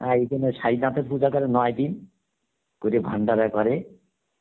এই জন্য তে পুজো করে নয় দিন, করে ভান্ডার করে